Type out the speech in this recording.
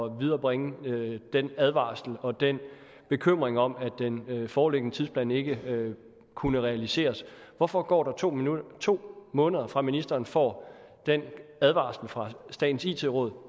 at viderebringe den advarsel og den bekymring om at den foreliggende tidsplan ikke kunne realiseres hvorfor går der to to måneder fra ministeren får den advarsel fra statens it råd